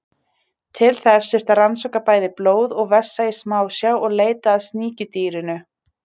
Til þess þurfti að rannsaka bæði blóð og vessa í smásjá og leita að sníkjudýrinu.